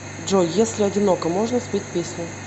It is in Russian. джой если одиноко можно спеть песню